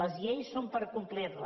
les lleis són per complir les